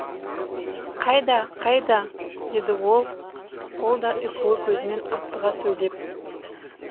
қайда қайда деді ол да ұйқылы көзімен аптыға сөйлеп